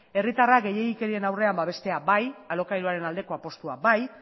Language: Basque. herritarrak gehiegikerien aurrean babestea bai alokairuaren aldeko apustua bai